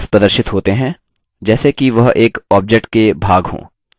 handles प्रदर्शित होते हैं जैसे कि वह एक object के भाग हों